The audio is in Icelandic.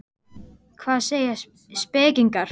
Hvað segja spekingarnir?